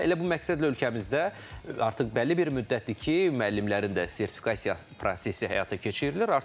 Və elə bu məqsədlə ölkəmizdə artıq bəlli bir müddətdir ki, müəllimlərin də sertifikasiya prosesi həyata keçirilir.